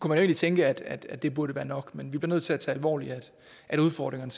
man jo tænke at at det burde være nok men vi bliver nødt til at tage alvorligt at udfordringerne